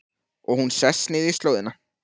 Og hún sest niður í slóðina.